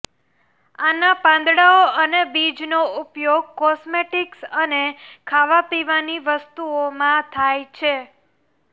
આનાં પાંદડાઓ અને બીજનો ઉપયોગ કોસ્મેટિક્સ અને ખાવા પીવાની વસ્તુઓમાં થાય છે